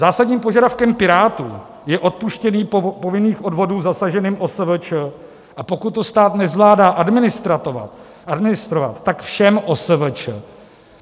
Zásadním požadavkem Pirátů je odpuštění povinných odvodů zasaženým OSVČ, a pokud to stát nezvládá administrovat, tak všem OSVČ.